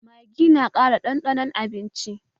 Maggi na ƙara ɗanɗanon abinci